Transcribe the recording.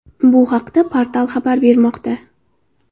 Bu haqda portal xabar bermoqda .